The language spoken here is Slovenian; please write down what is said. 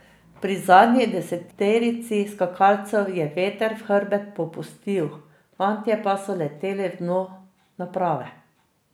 Pri zadnji deseterici skakalcev je veter v hrbet popustil, fantje pa so leteli v dno naprave.